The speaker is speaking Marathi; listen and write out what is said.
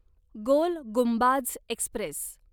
गोल गुंबाझ एक्स्प्रेस